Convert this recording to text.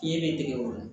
Ɲɛ bɛ dege o la